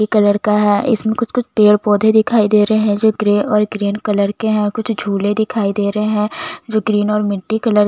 colour का है इसमें कुछ-कुछ पेड़ दिखाई दे रहा है जो ग्रे और ग्रीन कलर के है कुछ झूले दिखाई दे रहै है जो ग्रे और मिटटी--